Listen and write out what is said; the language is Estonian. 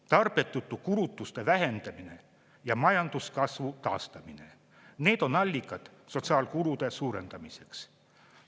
Tarbetute kulutuste vähendamine ja majanduskasvu taastamine – need on allikad sotsiaalkulude suurendamiseks.